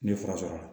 N ye fura sɔrɔ a la